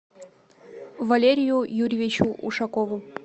валерию юрьевичу ушакову